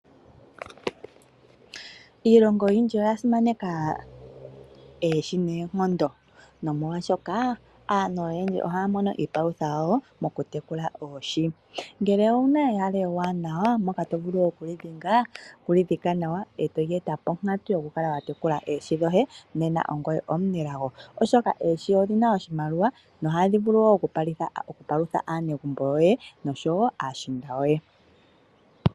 Iilongo oyindji oya simaneka oohi noonkondo. Nomolwaashoka aantu oyendji ohaya mono iipalutha yawo moku tekula oohi. Ngele owu na ehala ewanawa mpoka to vulu oku dhika nawa, etoli eta ponkatu yokukala wa tekula oohi dhoye, nena ongoye omunelago oshoka oohi odhi na oshimaliwa nohadhi vulu wo oku palutha aanegumbo yoye noshowo aashiinda yoye.